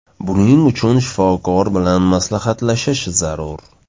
Buning uchun shifokor bilan maslahatlashish zarur.